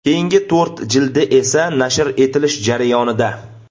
Keyingi to‘rt jildi esa nashr etilish jarayonida.